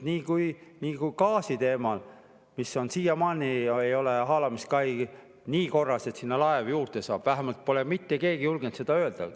Samuti nagu gaasiteema, siiamaani ei ole haalamiskai nii korras, et sinna laev juurde saaks, vähemalt pole mitte keegi julgenud seda öelda.